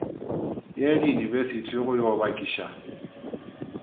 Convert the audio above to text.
ye diyunibesithi go yo bakiša